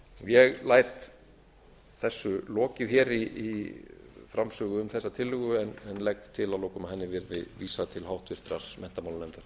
ég læt þessu lokið í framsögu um þessa tillögu en legg til að lokum að henni verði vísað til háttvirtrar menntamálanefndar